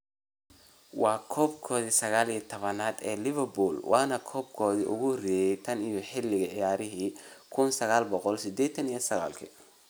Waa koobkii 19-aad ee Liverpool waana koobkoodii ugu horeeyay tan iyo xilli ciyaareedkii 1989-90.